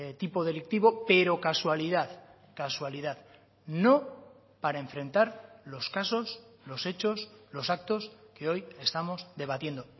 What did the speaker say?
tipo delictivo pero casualidad casualidad no para enfrentar los casos los hechos los actos que hoy estamos debatiendo